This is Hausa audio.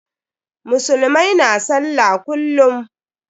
Musulmai na sallah kullum.